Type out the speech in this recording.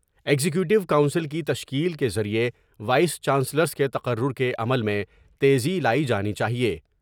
Executive council کی تشکیل کے ذریعےوائس چانسلرس کے تقرر کے عمل میں تیزی لائی جانی چاہئے ۔